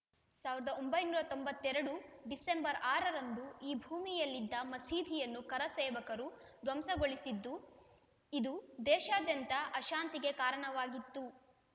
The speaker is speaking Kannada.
ಸಾವಿರದ ಒಂಬೈನೂರ ತೊಂಬತ್ತ್ ಎರಡು ಡಿಸೆಂಬರ್‌ ಆರ ರಂದು ಈ ಭೂಮಿಯಲ್ಲಿದ್ದ ಮಸೀದಿಯನ್ನು ಕರಸೇವಕರು ಧ್ವಂಸಗೊಳಿಸಿದ್ದು ಇದು ದೇಶಾದ್ಯಂತ ಅಶಾಂತಿಗೆ ಕಾರಣವಾಗಿತ್ತು